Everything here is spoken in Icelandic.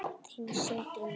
Þinn, Sindri Már.